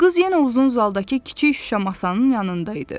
Qız yenə uzun zaldakı kiçik şüşə masanın yanında idi.